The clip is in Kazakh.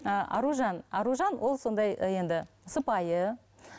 ыыы аружан аружан ол сондай енді сыпайы